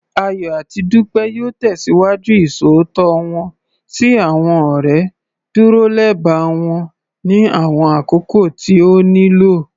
Ayọ̀ àti Dúpẹ́ yóò tẹ̀síwájú Ìṣòótọ́ wọ́n sí àwọn ọ̀rẹ́, dúró lẹba wọn ní àwọn àkókò tí ó nílò